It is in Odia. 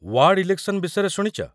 ୱାର୍ଡ୍ ଇଲେକ୍‌ସନ୍ ବିଷୟରେ ଶୁଣିଚ?